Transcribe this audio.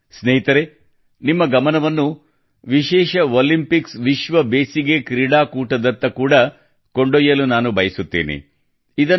ಸ್ನೇಹಿತರೇ ನಿಮ್ಮ ಗಮನವನ್ನು ವಿಶೇಷ ಒಲಿಂಪಿಕ್ಸ್ ವಿಶ್ವ ಬೇಸಿಗೆ ಕ್ರೀಡೆ ಕೂಟದತ್ತ ಕೂಡಾ special Olympics world summer games ಕೊಂಡೊಯ್ಯಲು ನಾನು ಬಯಸುತ್ತೇನೆ